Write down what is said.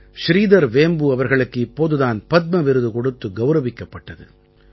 ஸ்ரீதர் வேம்பு அவர்களுக்கு இப்போது தான் பத்ம விருது கொடுத்து கௌரவிக்கப்பட்டது